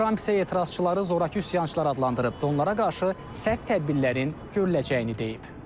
Tramp isə etirazçıları zorakı üsyançılar adlandırıb, onlara qarşı sərt tədbirlərin görüləcəyini deyib.